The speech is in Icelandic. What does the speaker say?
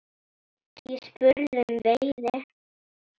Ég spurði um veiði.